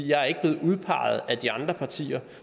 jeg er ikke blevet udpeget af de andre partier